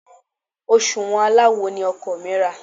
Òsùwọ́n aláwo ni ọkọ mi rà.